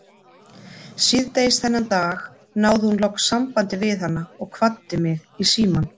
Síðdegis þennan dag náði hún loks sambandi við hana og kvaddi mig í símann.